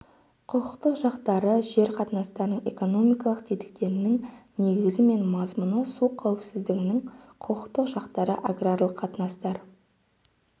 құқықтық жақтары жер қатынастарының экономикалық тетіктерінің негізі мен мазмұны су қауіпсіздігінің құқықтық жақтары аграрлық қатынастар